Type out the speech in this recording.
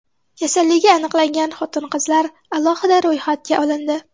Kasalligi aniqlangan xotin-qizlar alohida ro‘yxatga olindi.